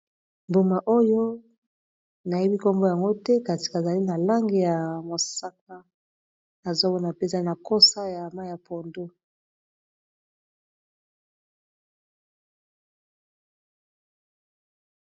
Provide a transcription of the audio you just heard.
Mbuma oyo nayebi nkombo yango te kati kazali na langi ya mosaka nazomona mpe zali na kosa ya mayi ya pondu.